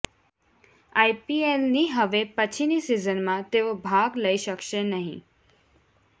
આઈપીએલની હવે પછીની સિઝનમાં તેઓ ભાગ લઈ શકશે નહીં